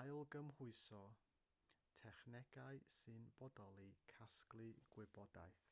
ailgymhwyso technegau sy'n bodoli casglu gwybodaeth